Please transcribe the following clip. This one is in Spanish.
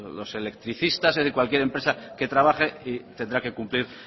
los electricistas cualquier empresa que trabaje tendrá que cumplir